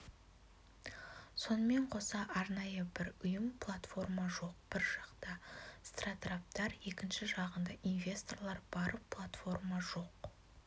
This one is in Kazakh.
сонымен қоса арнайы бір ұйым платформа жоқ бір жақта стратраптар екінші жағында инвесторлар бар платформа жоқ